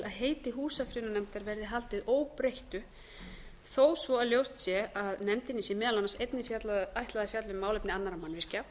að heiti húsafriðunarnefndar verði haldið óbreyttu þó svo að ljóst sé að nefndinni sé meðal annars einnig ætlað að fjalla um málefni annarra mannvirkja